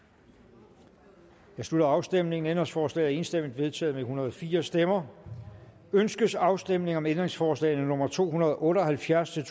nu jeg slutter afstemningen ændringsforslaget er enstemmigt vedtaget med en hundrede og fire stemmer ønskes afstemning om ændringsforslag nummer to hundrede og otte og halvfjerds til